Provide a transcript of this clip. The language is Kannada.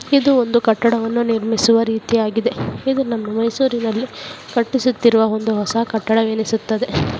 ಇದು ಒಂದು ಕಟ್ಟಡವನ್ನ ನಿರ್ಮಿಸುವ ರೀತಿ ಆಗಿದೆ ಇದು ನಮ್ಮ ಮೈಸೂರ್ನಲ್ಲಿ ಕಟ್ಟಿಸುತಿರುವ ಒಂದು ಹೊಸ ಕಟ್ಟಡವೆನಿಸುತ್ತದೆ.